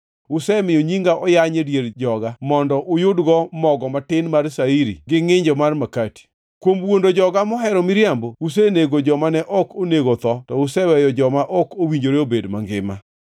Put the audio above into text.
Usemiyo nyinga oyany e dier joga mondo uyudgo mogo matin mar shairi gi ngʼinjo mar makati. Kuom wuondo joga mohero miriambo, usenego jomane ok onego otho to useweyo joma ok owinjore obed mangima.